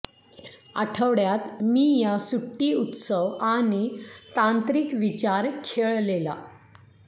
आठवड्यात मी या सुट्टी उत्सव आणि तांत्रिक विचार खेळलेला